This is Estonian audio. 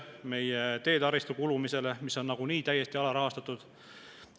Meie teedetaristu, mis on nagunii täiesti alarahastatud, kulub.